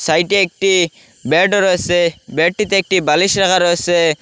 সাইডে একটি বেড রয়েসে বেডটিতে একটি বালিশ রাখা রয়েসে।